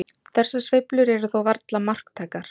Þessar sveiflur eru þó varla marktækar.